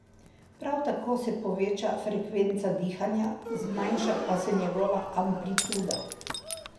Prav tako se poveča frekvenca dihanja, zmanjša pa se njegova amplituda.